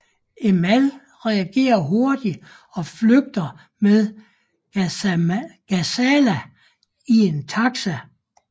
Emal reagerer hurtigt og flygter med Ghazala i en taxi